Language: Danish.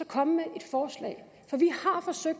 komme med et forslag for vi